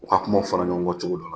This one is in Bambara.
U ka kumaw fɔra ɲɔgɔn kɔ cogo dɔ la